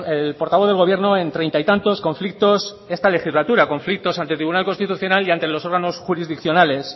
el portavoz del gobierno en treinta y tantos conflictos esta legislatura conflictos ante el tribunal constitucional y ante los órganos jurisdiccionales